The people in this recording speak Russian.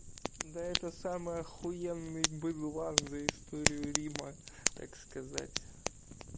да это самое ахуенный была за историю рима так сказать